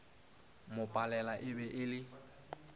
mo palela e be e